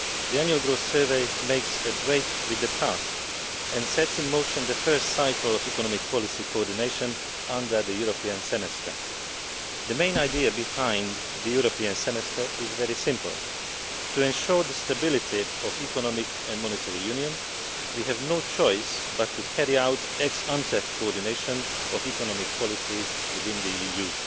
The Annual Growth Survey makes a break with the past and sets in motion the first cycle of economic policy coordination under the European Semester. The main idea behind the European Semester is very simple to ensure the stability of economic and monetary union, we have no choice but to carry out ex ante coordination of economic policies within the EU.